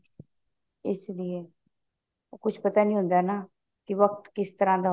ਇਸ ਲਈ ਕੁਛ ਪਤਾ ਨੀ ਹੁੰਦਾ ਨਾ ਕੇ ਵਕਤ ਕਿਸ ਤਰ੍ਹਾਂ ਦਾ ਹੋਵੇ